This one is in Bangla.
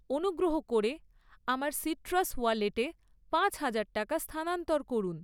অনুগ্রহ করে আমার সিট্রাস ওয়ালেটে পাঁচ হাজার টাকা স্থানান্তর করুন।